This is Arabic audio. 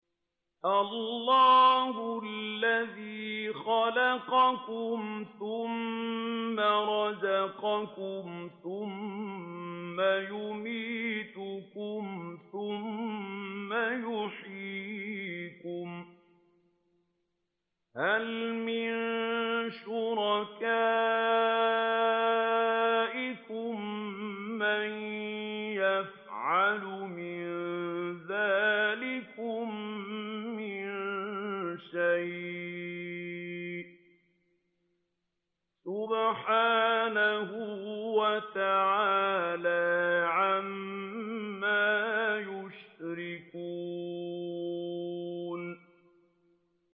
اللَّهُ الَّذِي خَلَقَكُمْ ثُمَّ رَزَقَكُمْ ثُمَّ يُمِيتُكُمْ ثُمَّ يُحْيِيكُمْ ۖ هَلْ مِن شُرَكَائِكُم مَّن يَفْعَلُ مِن ذَٰلِكُم مِّن شَيْءٍ ۚ سُبْحَانَهُ وَتَعَالَىٰ عَمَّا يُشْرِكُونَ